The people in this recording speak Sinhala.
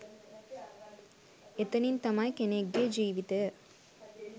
එතනින් තමයි කෙනෙක්ගෙ ජීවිතය